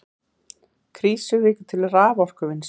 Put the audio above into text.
Krýsuvík til raforkuvinnslu.